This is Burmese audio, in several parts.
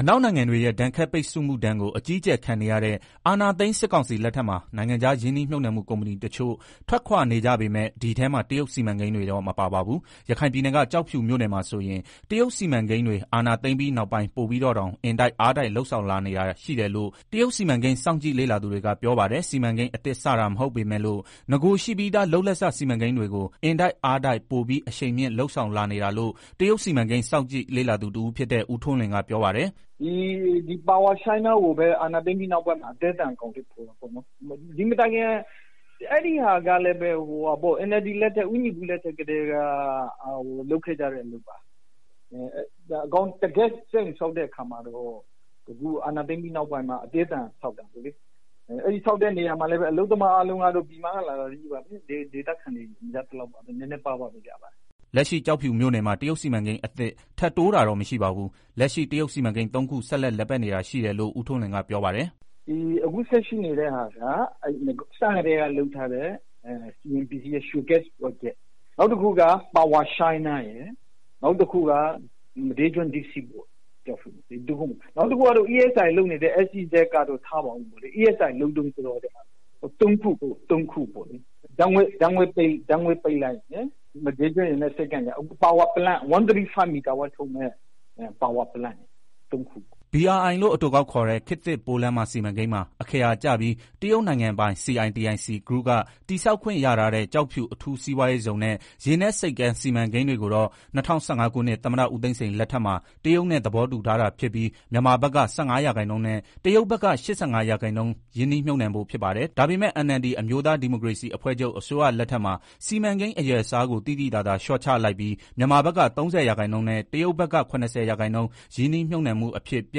အနောက်နိုင်ငံတွေရဲ့ ဒဏ်ခတ်ပိတ်ဆို့မှုဒဏ်ကို အကြီးအကျယ်ခံနေရတဲ့ အာဏာသိမ်း စစ်ကောင်စီလက်ထက်မှာ နိုင်ငံခြား ရင်းနှီးမြှုပ်နှံမှု ကုမ္ပဏီတချို့ ထွက်ခွာနေကြပေမယ့် ဒီအထဲမှာ တရုတ်စီမံကိန်းတွေတော့ မပါ ပါဘူး။ ရခိုင်ပြည်နယ်က ကျောက်ဖြူမြို့နယ်မှာဆိုရင် တရုတ်စီမံကိန်းတွေ အာဏာသိမ်းပြီးနောက်ပိုင်း ပိုပြီးတော့တောင် အင်တိုက်အားတိုက် လုပ်ဆောင်လာနေတာ ရှိတယ်လို့ တရုတ်စီမံကိန်း စောင့်ကြည့် လေ့လာသူတွေက ပြောပါတယ်။ စီမံကိန်း အသစ်စတာ မဟုတ်ပေမယ့်လို့ နဂိုရှိပြီးသား လုပ်လက်စ စီမံကိန်းတွေကို အင်တိုက်အားတိုက် ပိုပြီး အရှိန်မြင့် လုပ်ဆောင်လာနေတာလို့ တရုတ်စီမံကိန်း စောင့်ကြည့် လေ့လာသူတဦးဖြစ်တဲ့ ဦးထွန်းလွင်က ပြောပါတယ်။ “power China တခုကိုပဲ အာဏာသိမ်းပြီး နောက်ပိုင်း အသည်းအသန် အကောင်အထည်ဖော်တယ်။ အဲဒီဟာကလည်း NLD လက်ထက် ဦးညီပု လက်ထက်ကတည်းက လုပ်ခဲ့ကြတဲ့ အလုပ်ပါ။ တကယ့်စက်ရုံဆောက်တဲ့ အခါမှာတော့ ဒီအာဏာ သိမ်းပြီးနောက်ပိုင်း အသည်းအသန် ဆောက်တာပေါ့လေ ဆောက်တဲ့ အခါမှာလည်း အလုပ်သမား အားလုံးက ပြည်မက လာတာကြီးပဲ ဒေသခံတွေ မပါသလောက်ပဲ နည်းနည်းပါးပါး လောက်ပဲရတယ်။” လက်ရှိ ကျောက်ဖြူမြို့နယ်မှာ တရုတ်စီမံကိန်း အသစ် ထပ်တိုးတာတော့ မရှိပါဘူး။ လက်ရှိ တရုတ် စီမံကိန်း ၃ ခု ဆက်လက် လည်ပတ်နေတာ ရှိတယ်လို့ ဦးထွန်းလွင်က ပြောပါတယ်။ “အခုလက်ရှိ ရှိနေတာက အစကတည်းက လုပ်ထားတဲ့ CNPC ရွှေဂက်စ် ပရောဂျက်။ နောက်တခုက Power China ရယ်၊ မဒေးကျွန်း Deep Sea ရယ်။ နောက်တခုကတော့ ESIA (Environmental and Social Impact Assessment) လုပ်နေတဲ့ ကျောက်ဖြူ SEZ (Special Economic Zone) က ထားပါအုံးပေါ့လေ။ ESIA က လုပ်တုန်းဆိုတော့လေ။ ဆိုတာ့ ၃ခု ဓာတ်ငွေ့ပိုက်လိုင်းရယ် မဒေးကျွန်းရယ်။ နက်ဆိပ်ကမ်းရယ် Power Plant 135 MW ထုတ်မယ့် Power plant ၃ ခုပေါ့။” BRI လို့ အတိုကောက်ခေါ်တဲ့ ခေတ်သစ် ပိုးလမ်းမ စီမံကိန်းမှာ အခရာ ကျပြီး တရုတ်နိုင်ငံပိုင် CITIC Group က တည်ဆောက်ခွင့် ရထားတဲ့ ကျောက်ဖြူ အထူးစီးပွားရေးဇုံနဲ့ ရေနက်ဆိပ်ကမ်း စီမံကိန်းတွေကိုတော့ ၂၀၁၅ ခုနှစ် သမ္မတဦးသိန်းစိန် လက်ထက်မှာ တရုတ်နဲ့ သဘောတူထားတာ ဖြစ်ပြီး မြန်မာဘက်က ၁၅ % နဲ့ တရုတ်က ၈၅ % ရင်းနှီးမြှုပ်နှံဖို့ ဖြစ်ပါတယ်။ ဒါပေမဲ့ NLD အမျိုးသား ဒီမိုကရေစီအဖွဲ့ချုပ် အစိုးရလက်ထက်မှာ စီမံကိန်း အရွယ်အစားကို သိသိသာသာ လျှော့ချလိုက်ပြီး မြန်မာဘက်က ၃၀ % နဲ့ တရုတ်ဘက်က ၇၀ % ရင်းနှီးမြှုပ်နှံမှု အဖြစ် ပြ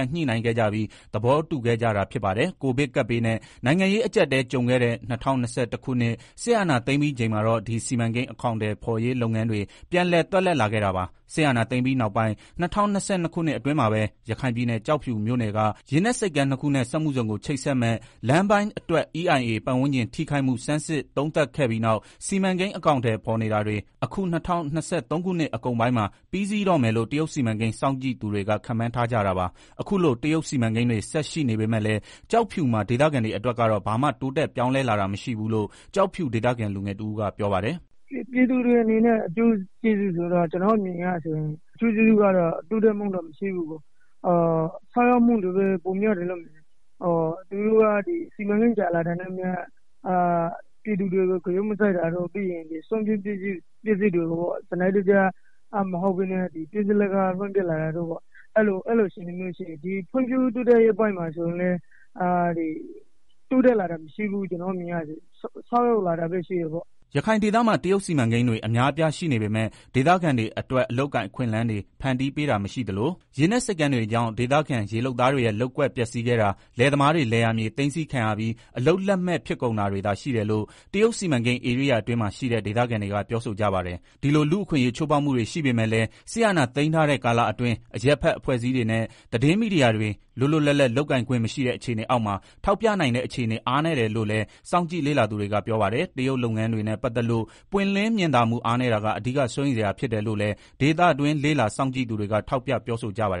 န်ညှိနှိုင်းခဲ့ကြပြီး သဘောတူခဲ့ကြတာ ဖြစ်ပါတယ်။ Covid ကပ်ဘေးနဲ့ နိုင်ငံရေး အကျပ်အတည်း ကြုံခဲ့တဲ့ ၂၀၂၁ ခုနှစ် စစ်အာဏာသိမ်းပြီးချိန်မှာတော့ ဒီ စီမံကိန်း အကောင်အထည်ဖော်ရေး လုပ်ငန်းတွေ ပြန်လည် သွက်လက်လာခဲ့တာပါ။ စစ်အာဏာသိမ်းပြီးနောက်ပိုင်း ၂၀၂၂ ခုနှစ် အတွင်းမှာပဲ ရခိုင်ပြည်နယ် ကျောက်ဖြူမြို့နယ်က ရေနက်ဆိပ်ကမ်း ၂ ခုနဲ့ စက်မှုဇုံကို ချိတ်ဆက်မယ့် လမ်းပိုင်းအတွက် EIA ပတ်ဝန်းကျင် ထိခိုက်မှု ဆန်းစစ် သုံးသပ်ခဲ့ပြီးနောက် စီမံကိန်း အကောင်အထည် ဖော်နေတာတွေ အခု ၂၀၂၃ ခုနှစ် အကုန်ပိုင်းမှာ ပြီးစီးတော့မယ်လို့ တရုတ်စီမံကိန်း စောင့်ကြည့်သူတွေက ခန့်မှန်း ထားကြတာပါ။ အခုလို တရုတ်စီမံကိန်းတွေ ဆက် ရှိနေပေမဲ့လည်း ကျောက်ဖြူမှာ ဒေသခံတွေအတွက် ကတော့ ဘာမှ တိုးတက်ပြောင်းလဲ လာတာ မရှိဘူးလို့ ကျောက်ဖြူဒေသခံ လူငယ်တဦးက ပြောပါတယ်။ “ပြည်သူအတွက် အကျိုးကျေးဇူးကတော့ တိုးတက်မှုမရှိဘူး။ ဆုတ်ယုတ်မှုတွေပဲ ပိုများတယ်လို့ မြင်တယ်။ သူတို့က စီမံကိန်းကြာလာတာနဲ့ အမျှ ပြည်သူတွေကို ဂရုမစိုက်တာတွေပြီးတော့ စွန့်ပစ်ပစည်းတွေကို စနစ်တကျ မဟုတ်ပဲ ဖြစ်သလို လွင့်ပစ်တာတွေ အဲလို အခြေအနေတွေရှိတယ်။ ဖွဲ့ဖြိုးတိုးတက်ရေးပိုင်းမှာလည်း တိုးတက်လာတာမရှိဘူး ဆုတ်ယုတ်လာတာပဲရှိတယ်။ ” ရခိုင်ဒေသမှာ တရုတ်စီမံကိန်းတွေ အများအပြား ရှိနေပေမဲ့ ဒေသခံတွေ အတွက် အလုပ်အကိုင်အခွင့်အလမ်းတွေ ဖန်တီးပေးတာမရှိသလို ရေနက်ဆိပ်ကမ်း တွေကြောင့် ဒေသခံ ရေလုပ်သားတွေရဲ့ လုပ်ကွက်ပျက်စီးခဲ့တာ၊ လယ်သမားတွေ လယ်ယာမြေ သိမ်းဆည်းခံရပြီး အလုပ်လက်မဲ့ ဖြစ်ကုန်တာတွေသာ ရှိတယ်လို့ တရုတ်စီမံကိန်း ဧရိယာအတွင်းမှာ ရှိတဲ့ ဒေသခံတွေက ပြောဆိုကြပါတယ်။ ဒီလို လူ့အခွင့်အရေး ချိုးဖောက်မှုတွေ ရှိပေမဲ့လည်း စစ်အာဏာသိမ်းထားတဲ့ ကာလအတွင်း အရပ်ဘက် အဖွဲ့အစည်းတွေနဲ့ သတင်းမီဒီယာတွေ လွတ်လွတ်လပ်လပ် လုပ်ကိုင်ခွင့်မရှိတဲ့ အခြေအနေအောက်မှာ ထောက်ပြနိုင်တဲ့ အခြေအနေ အားနည်းတယ်လို့လည်း စောင့်ကြည့် လေ့လာသူတွေက ပြောပါတယ်။ တရုတ်လုပ်ငန်းတွေနဲ့ ပတ်သက်လို့ ပွင့်လင့်မြင်သာမှု အားနည်းတာက အဓိက စိုးရိမ်စရာ ဖြစ်တယ်လို့လည်း ဒေသတွင်း လေ့လာ စောင့်ကြည့်သူတွေက ထောက်ပြ ပြောဆိုကြပါတယ်